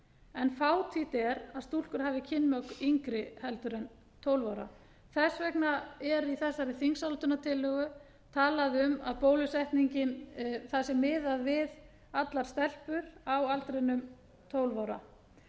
en fátítt er að stúlkur hafi kynmök yngri en tólf ára þess vegna er í þessari þingsályktunartillögu talað um að bólusetning það sé miðað við allar stelpur á aldrinum tólf ára